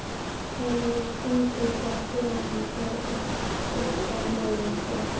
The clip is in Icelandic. Hefurðu stuðning frá félaginu til að styrkja liðið frekar?